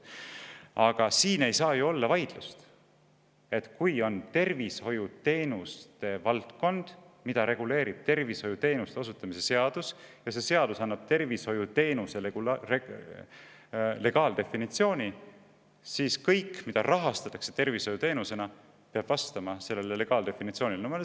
Aga siin ei saa ju olla vaidlust: kui on tervishoiuteenuste valdkond, mida reguleerib tervishoiuteenuste osutamise seadus, ja see seadus annab tervishoiuteenuse legaaldefinitsiooni, siis kõik, mida rahastatakse tervishoiuteenusena, peab vastama sellele legaaldefinitsioonile.